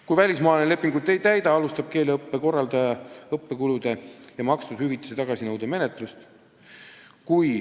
Kui välismaalane lepingut ei täida, alustab keeleõppe korraldaja õppekulude ja makstud hüvitise tagasinõude menetlust.